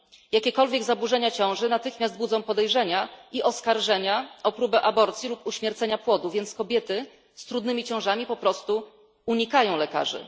Jakiekolwiek zaburzenia ciąży natychmiast budzą podejrzenia i oskarżenia o próbę aborcji lub uśmiercenia płodu, więc kobiety z trudnymi ciążami po prostu unikają lekarzy.